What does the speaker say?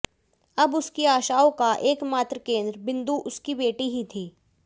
अब उसकी आशाओं का एकमात्र केंद्र बिंदु उसकी बेटी ही थी